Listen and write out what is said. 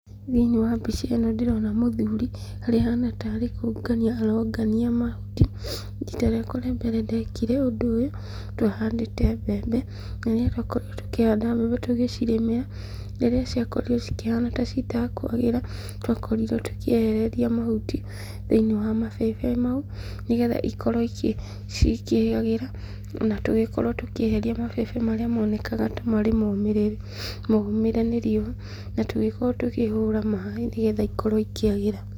Thĩinĩ wa mbica ĩno ndĩrona mũthuri, harĩa ahana tarĩ kũngania arongania mahuti. Rita rĩakwa rĩambere ndekire ũndũ ũyũ, twahandĩte mbembe, na rĩrĩa twakorirwo tũkĩhanda mbembe tũgĩcirĩmĩra, rĩrĩa ciakorirwo cikĩhana ta citakwagĩra, nĩ twakorirwo tũkĩehereria mahuti thĩinĩ wa mabebe mau, nĩgetha ikorwo cikĩagĩra, ona tũgĩkorwo tũkĩeheria mabebe marĩa monekaga ta marĩ momĩrĩru, momĩre nĩ riũa, na tũgĩkorwo tũkĩhũra maĩ nĩgetha ikorwo ikĩagĩra.